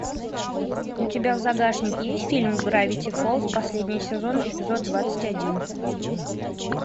у тебя в загашнике есть фильм гравити фолз последний сезон эпизод двадцать один